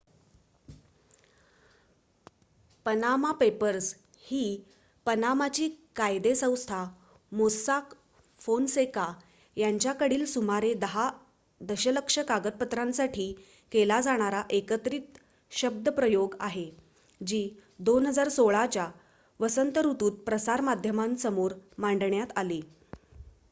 """Panama Papers" ही पनामाची कायदे संस्था मोस्साक फोनसेका यांच्याकडील सुमारे दहा दशलक्ष कागदपत्रांसाठी केला जाणारा एकत्रित शब्दप्रयोग आहे जी 2016 च्या वसंत ऋतुत प्रसार माध्यमांसमोर मांडण्यात आली.